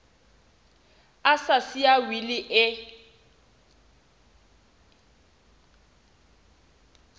a sa siya wili e